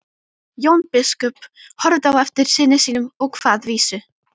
Jón biskup horfði á eftir syni sínum og kvað vísu